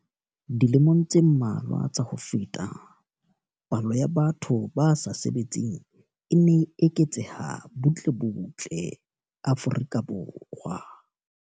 Dilemong tse mmalwa tsa ho feta, palo ya batho ba sa sebetseng e ne e eketseha butle butle Afrika Borwa.